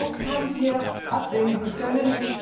Das haben wir abwenden können.